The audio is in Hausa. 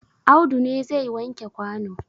Audu ne zai wanke kwano?